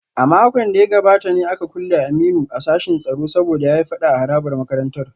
A makon da ya gabata ne aka kulle Aminu a sashin tsaro saboda ya yi fada a harabar makarantar